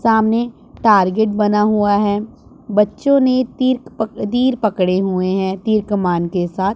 सामने टारगेट बना हुआ हैं। बच्चों ने तिर्क पक अ तीर पकड़े हुए हैं तीर कमान के साथ--